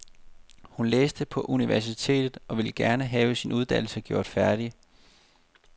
Hun læste på universitetet og ville gerne have sin uddannelse gjort færdig.